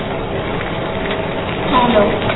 ਹਮ hello